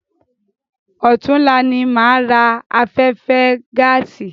Ọ̀túnla ni máa ra afẹ́fẹ́ gáàsì.